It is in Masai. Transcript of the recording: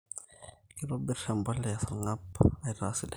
kitobir emboleya esarngab aitaa sidai